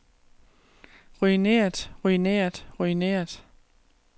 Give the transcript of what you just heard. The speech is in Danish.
ruineret ruineret ruineret